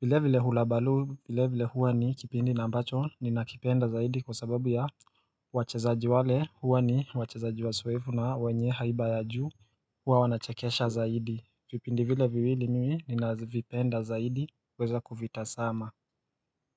vile vile Hulabaloo, vile vile huwa ni kipindi na ambacho ninakipenda zaidi kwa sababu ya wachezaji wale Huwa ni wachezaji wazoefu na wenye haiba ya juu huwa wanachekesha zaidi vipindi vile viwili mimi ninavipenda zaidi kuweza kuvitazama.